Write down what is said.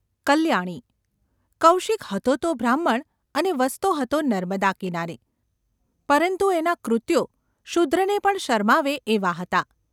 કલ્યાણી કૌશિક હતો તો બ્રાહ્મણ અને વસતો હતો નર્મદા કિનારે, પરંતુ એનાં કૃત્યો શૂદ્રને પણ શરમાવે એવાં હતાં.